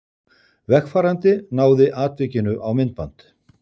Vegfarandi náði atvikinu á myndband